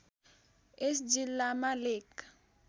यस जिल्लामा लेक